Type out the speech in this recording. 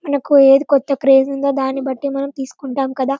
మనకకు ఏది కొత్త ప్రేమ ఉంటుందో దాని బట్టి మనం తీసుకొంటాము కదా.